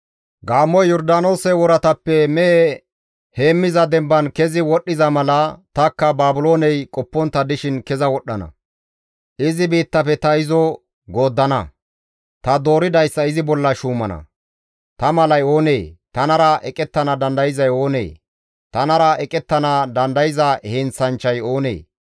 Gaammoy Yordaanoose woratappe mehe heemmiza demban kezi wodhdhiza mala tanikka Baabilooney qoppontta dishin keza wodhdhana; izi biittafe ta izo gooddana; ta dooridayssa izi bolla shuumana; ta malay oonee? tanara eqettana dandayzay oonee? tanara eqettana dandayza heenththanchchay oonee?